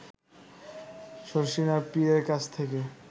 শর্ষিনার পীরের কাছ থেকে